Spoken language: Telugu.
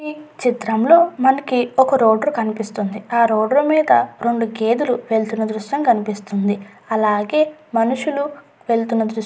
ఈ చిత్రంలో మనకి ఒక రోడరు కనిపిస్తుంది. ఆ రోడరు మీద రెండు గేదలు వెళ్తున్న దృశ్యం కనిపిస్తుం.ది అలాగే మనషులు వెళ్తున్న దృశ్యం కూడా కనిపిస్తుంది.